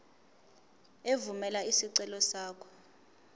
evumela isicelo sakho